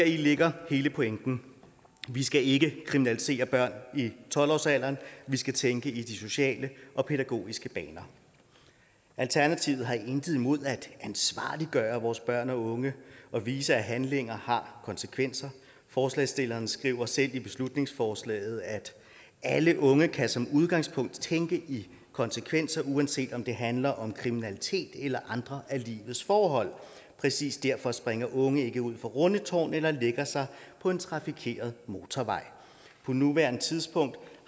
ligger hele pointen vi skal ikke kriminalisere børn i tolv årsalderen vi skal tænke i de sociale og pædagogiske baner alternativet har intet imod at ansvarliggøre vores børn og unge og vise at handlinger har konsekvenser forslagsstillerne skriver selv i beslutningsforslaget alle unge kan som udgangspunkt tænke i konsekvenser uanset om det handler om kriminalitet eller andre af livets forhold præcis derfor springer unge ikke ud fra rundetårn eller lægger sig på en trafikeret motorvej på nuværende tidspunkt